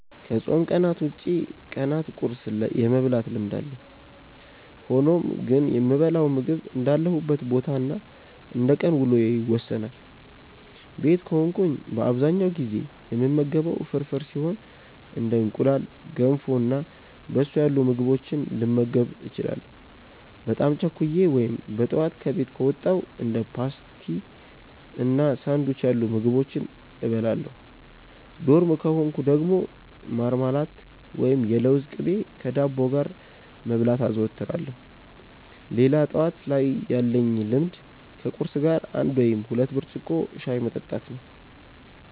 አዎ ከፆም ቀናት ውጪ ቀናት ቁርስ የመብላት ልምድ አለኝ። ሆኖም ግን የምበላው ምግብ እንዳለሁበት ቦታ እና እንደቀን ውሎዬ ይወሰናል። ቤት ከሆንኩ በአብዛኛው ጊዜ የምመገበው ፍርፍር ሲሆን እንደ እንቁላል፣ ገንፎ እና በሶ ያሉ ምግቦችንም ልመገብ እችላለሁ። በጣም ቸኩዬ ወይም በጠዋት ከቤት ከወጣው እንደ ፓስቲ እና ሳንዱች ያሉ ምግቦችን እበላለሁ። ዶርም ከሆንኩ ደግሞ ማርማላት ወይም የለውዝ ቅቤ ከዳቦ ጋር መብላት አዘወትራለሁ። ሌላ ጠዋት ላይ ያለኝ ልምድ ከቁርስ ጋር አንድ ወይም ሁለት ብርጭቆ ሻይ መጠጣት ነው።